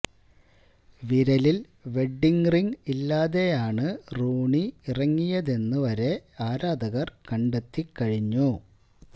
വിരലില് wedding ring ഇല്ലാതെയാണ് Rooney ഇറങ്ങിയതെന്ന് വരെ ആരാധകര് കണ്ടെത്തി കഴിഞ്ഞു